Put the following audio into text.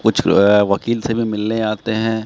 कुछ जो है वकील से भी मिलने आते हैं।